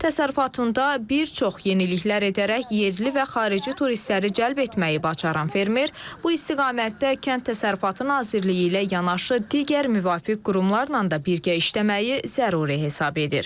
Təsərrüfatında bir çox yeniliklər edərək yerli və xarici turistləri cəlb etməyi bacaran fermer bu istiqamətdə Kənd Təsərrüfatı Nazirliyi ilə yanaşı digər müvafiq qurumlarla da birgə işləməyi zəruri hesab edir.